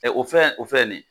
Ɛ o fɛn o fɛ nin.